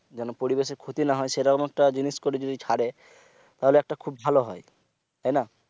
যেন পরিবেশের ক্ষতি না হয় সেরকম একটা জিনিস করে যদি ছাড়ে তাহলে একটা খুব ভালো হয় তাইনা?